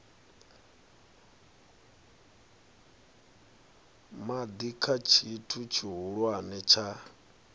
madi kha tshithu tshihulwane tsha